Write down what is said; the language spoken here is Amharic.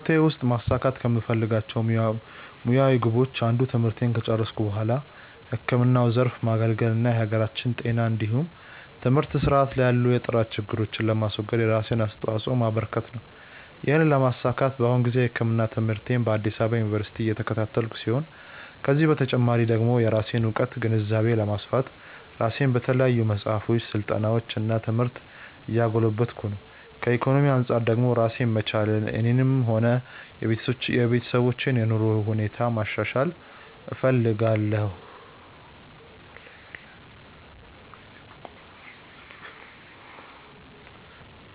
በህይወቴ ውስጥ ማሳካት ከምፈልጋቸው ሙያዊ ግቦች አንዱ ትምህርቴን ከጨረስኩ በኋላ ህክምናው ዘርፍ ማገልገል እና የሀገራችንን የጤና እንዲሁም የትምህርት ስርዓት ላይ ያሉ የጥራት ችግሮችን ለማስወገድ የራሴን አስተዋጾ ማበረከት ነው። ይህንን ለማሳካት በአሁኑ ጊዜ የህክምና ትምህርትን በአዲስ አበባ ዩኒቨርሲቲ እየተከታተልኩ ሲሆን ከዚህ በተጨማሪ ደግሞ የራሴን እውቀትና ግንዛቤ ለማስፋት ራሴን በተለያዩ መጽሐፎች፣ ስልጠናዎች እና ትምህርት እያጎለበትኩ ነው። ከኢኮኖሚ አንጻር ደግሞ ራሴን መቻልና የኔንም ሆነ የቤተሰቦችን የኑሮ ሁኔታ ማሻሻል እፈልጋለሁ።